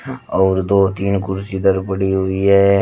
और दो तीन कुर्सी इधर पड़ी हुई है।